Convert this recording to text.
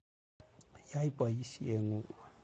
Yai poisyet ng'ung'.